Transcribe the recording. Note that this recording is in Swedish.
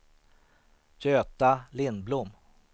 Göta Lindblom